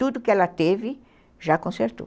Tudo que ela teve, já consertou.